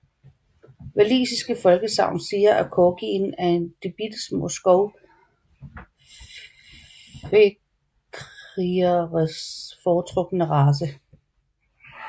Walisiske folkesagn siger at corgien er de bittesmå skov fekrigeres foretrukne race